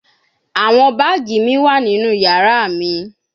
Awọn baagi mi wa ninu yara mi